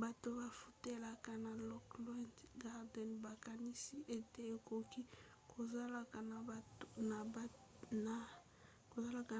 bato bafutelaka na lockwood gardens bakanisi ete ekoki kozala